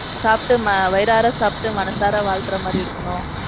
சாப்ட்டு ~ வயிறார சாப்பிட்டு மனசார வாழ்த்துர மாறி இருக்கணும்.